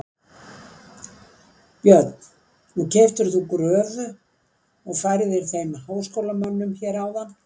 Björn: Nú keyptir þú gröfu og færðir þeim háskólamönnum hér áðan?